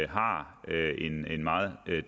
har en meget